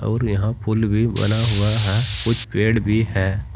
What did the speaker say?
और यहां पुल भी बना हुआ है कुछ पेड़ भी है।